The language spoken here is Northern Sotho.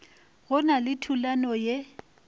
go na le thulano ye